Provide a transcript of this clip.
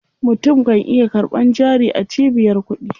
Mutum kan iya karɓan jari a cibiyar kuɗi.